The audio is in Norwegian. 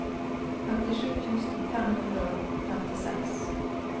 femtisju tusen fem hundre og femtiseks